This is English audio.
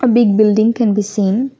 A big building can be seen.